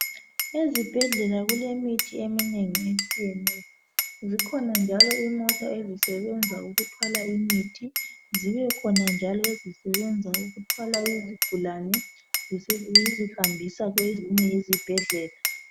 Ezibhedlela kulemithi eminengi etshiyeneyo , zikhona njalo izimota ezisebenza ukuthwala imithi zibekhona njalo ezisebenza ukuthwala izigulane , zizihambisa kwezinye izibhedlela